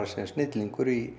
sem snillingur í